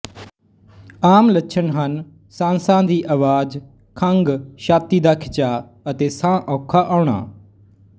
ਆਮ ਲੱਛਣ ਹਨ ਸਾਂਸਾਂ ਦੀ ਅਵਾਜ਼ ਖੰਘ ਛਾਤੀ ਦਾ ਖਿਚਾਅ ਅਤੇ ਸਾਹ ਔਖਾ ਹੋਣਾ